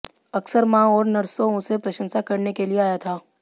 अक्सर मां और नर्सों उसे प्रशंसा करने के लिए आया था